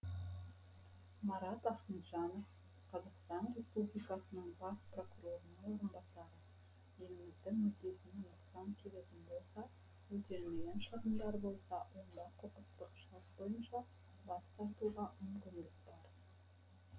марат ахметжанов қазақстан республикасының бас прокурорының орынбасары еліміздің мүддесіне нұқсан келетін болса өтелмеген шығындар болса онда құқықтық шарт бойынша бас тартуға мүмкіндік бар